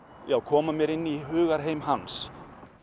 já koma mér inn í hugarheim hans